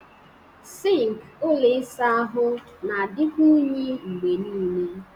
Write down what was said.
Sink ụlọ ịsa ahụ na-adịkwa unyi mgbe niile